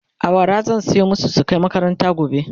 awara zan soya masu su Kai makaranta gobe